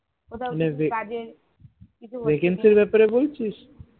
vacancy এর ব্যাপারে বলছিস?